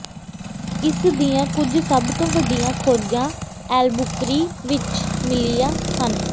ਇਸ ਦੀਆਂ ਕੁਝ ਸਭ ਤੋਂ ਵੱਡੀਆਂ ਖੋਜਾਂ ਐਲਬੂਕਰੀ ਵਿੱਚ ਮਿਲੀਆਂ ਹਨ